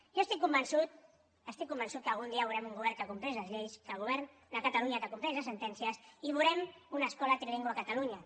jo estic convençut estic convençut que algun dia veurem un govern que compleix les lleis que el govern de catalunya compleix les sentències i veurem una escola trilingüe a catalunya